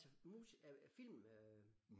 Altså mus er øh film øh?